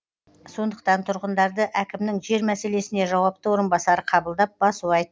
сондықтан тұрғындарды әкімнің жер мәселесіне жауапты орынбасары қабылдап басу айтты